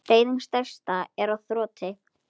Neyðin stærsta er á þroti.